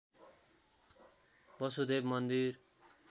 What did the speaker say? वसुदेव मन्दिर